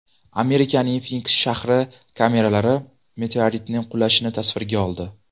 Amerikaning Finiks shahri kameralari meteoritning qulashini tasvirga oldi.